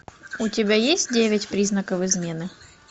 у тебя есть девять признаков измены